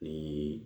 Ni